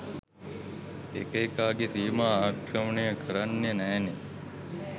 එක එකාගේ සීමා ආක්‍රමණය කරන්න නෑනේ.